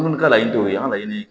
Munnu ka layini tɛ o ye an ka laɲini ye